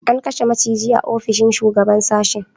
An kashe maciji a ofishin shugaban sashen